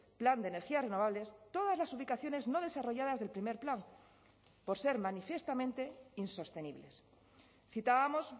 plan de energías renovables todas las ubicaciones no desarrolladas del primer plan por ser manifiestamente insostenibles citábamos